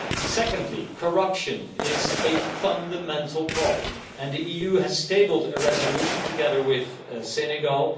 Secondly, corruption is a fundamental problem and the EU has tabled a resolution, together with Senegal.